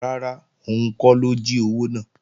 Rárá, òun kọ́ ló jí owó náà